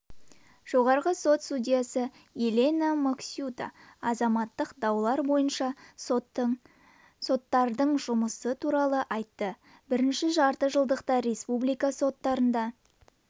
естеріңізге салайық мұхаммед әли жылы олимпиада чемпионы атанды кәсіби рингте кездесу өткізіп оның сында жеңіске жетті